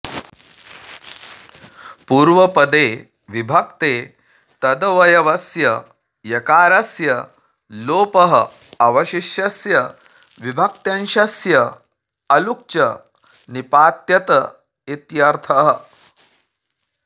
पूर्वपदे विभक्ते तदवयवस्य यकारस्य लोपः अवशिष्यस्य विभक्त्यंशस्य अलुक्च निपात्यत इत्यर्थः